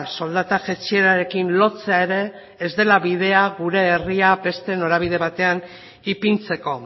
soldata jaitsierarekin lotzea ere ez dela bidea gure herria beste norabide batean ipintzeko